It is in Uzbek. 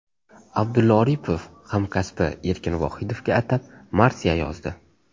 Abdulla Oripov hamkasbi Erkin Vohidovga atab marsiya yozdi .